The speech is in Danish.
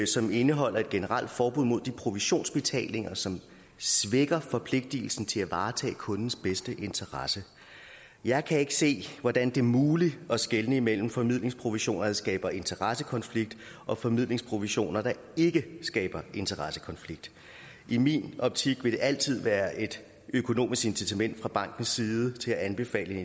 som indeholder et generelt forbud mod de provisionsbetalinger som svækker forpligtigelsen til at varetage kundens bedste interesse jeg kan ikke se hvordan det er muligt at skelne imellem formidlingsprovisioner der skaber interessekonflikt og formidlingsprovisioner der ikke skaber interessekonflikt i min optik vil der altid været et økonomisk incitament fra bankens side til at anbefale